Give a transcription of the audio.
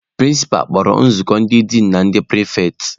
Prịnsịpa kpọrọ nzukọ ndị din na na ndị pịrịfetị.